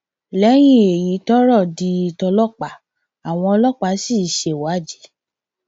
lẹyìn èyí lọrọ di tọlọpàá àwọn ọlọpàá sì ṣèwádìí